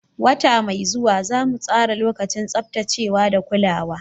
Wata mai zuwa, za mu tsara lokacin tsaftacewa da kulawa.